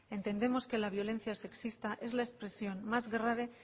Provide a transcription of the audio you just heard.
entendemos que la violencia sexista es la expresión más grave